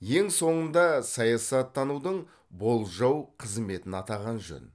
ең соңында саясаттанудың болжау қызметін атаған жөн